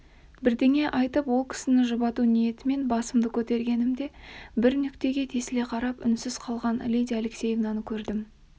бірдеңе айтып ол кісіні жұбату ниетімен басымды көтергенімде бір нүктеге тесіле қарап үнсіз қалған лидия алексеевнаны көрдім